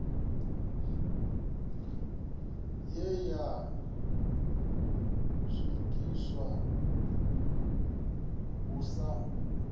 ye ya swikiswa hu sa